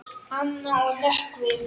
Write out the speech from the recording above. Anna og Nökkvi.